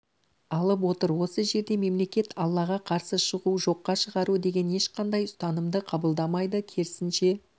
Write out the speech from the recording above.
алып отыр осы жерде мемлекет аллаға қарсы шығу жоққа шығару деген ешқандай ұстанымды қабылдамайды керісінше